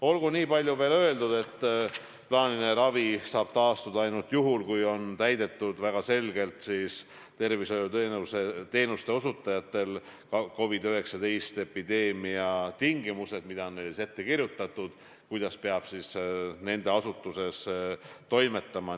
Olgu niipalju veel öeldud, et plaaniline ravi saab taastuda ainult juhul, kui väga selgelt on tervishoiuteenuste osutajatel täidetud ka COVID-19 epideemiast tulenevad tingimused, mis on neile ette kirjutatud, kuidas peab nende asutuses toimetama.